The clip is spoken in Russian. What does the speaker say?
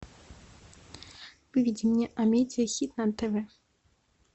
выведи мне амедиа хит на тв